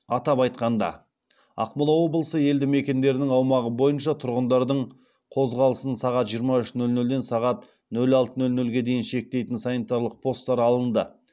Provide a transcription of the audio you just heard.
атап айтқанда ақмола облысы елді мекендерінің аумағы бойынша тұрғындардың қозғалысын сағат жиырма үш нөл нөлден сағат нөл алты нөл нөлге дейін шектейтін санитарлық посттар алынды